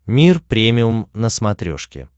мир премиум на смотрешке